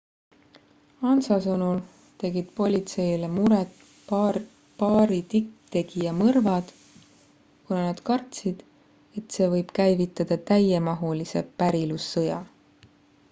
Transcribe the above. ansa sõnul tegid politseile muret paari tipptegija mõrvad kuna nad kartsid et see võib käivitada täiemahulise pärilussõja